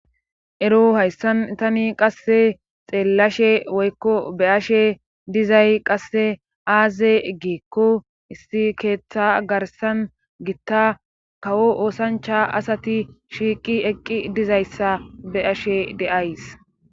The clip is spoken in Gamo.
ero hayssan tani qasse xeellashe woykko be ashe dizay qasse aaze giekko issi keeththa garsan gitta kawo oosancha asati shiiqi eqqi dizayssa be ashe deays